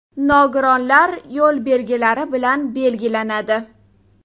Nogironlar” yo‘l belgilari bilan belgilanadi.